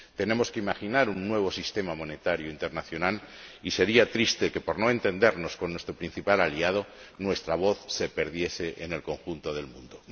Tenemos que imaginar un nuevo sistema monetario internacional y sería triste que, por no entendernos con nuestro principal aliado, nuestra voz se perdiese en el conjunto del mundo.